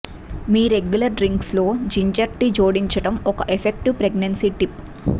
మీ regular drinks లో ginger tea జోడించడం ఒక ఎఫెక్టివ్ ప్రెగ్నెన్సీ టిప్